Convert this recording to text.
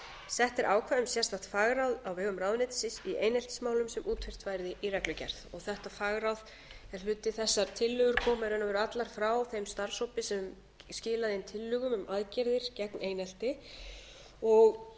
sett er ákvæði um sérstakt fagráð á vegum ráðuneytisins í eineltismálum sem útfært verði í reglugerð þetta fagráð er hluti þess að tillögur komu í raun og veru allar frá þeim starfshópi sem skilaði inn tillögum aðgerðir gegn einelti við